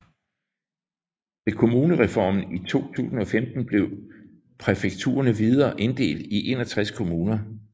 Ved kommunereformen i 2015 blev præfekturene videre inddelt i 61 kommuner